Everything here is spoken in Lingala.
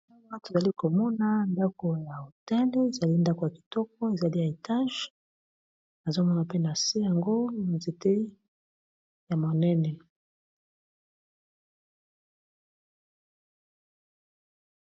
maki ezali komona ndako ya otele ezali ndako ya kitoko ezali ya etage azomona pe na se yango nzete ya monene